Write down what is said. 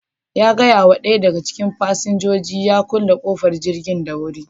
Ya gaya wa ɗaya daga cikin fasinjoji ya kulle ƙofar jirgin da wuri.